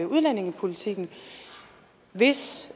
udlændingepolitikken hvis